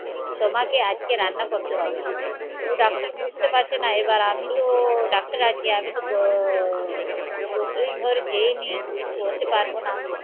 তোমাকে আজকে রান্না করতে হবে ডাক্তার বুঝতে পারছে না এবার আমি তো ডাক্তারে আছি আমি তো ঘর যায় নেই কিছু করতে পারবো না